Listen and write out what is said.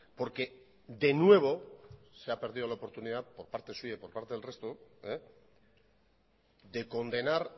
porque de nuevo se ha perdido la oportunidad por parte suya y por parte del resto de condenar